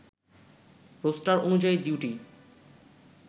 roaster অনুযায়ী duty